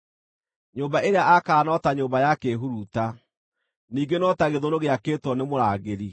Nyũmba ĩrĩa aakaga no ta nyũmba ya kĩĩhuruta, ningĩ no ta gĩthũnũ gĩakĩtwo nĩ mũrangĩri.